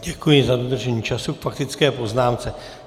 Děkuji za dodržení času k faktické poznámce.